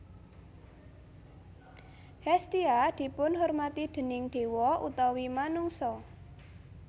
Hestia dipunhormati déning dewa utawi manungsa